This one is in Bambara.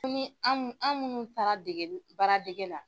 ni an minnu an minnu taara degeli baaradege la.